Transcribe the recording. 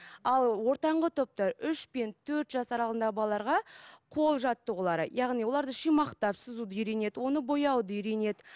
ал ортаңғы топта үш пен төрт жас аралығындағы балаларға қол жаттығулары яғни оларды шимақтап сызуды үйренеді оны бояуды үйренеді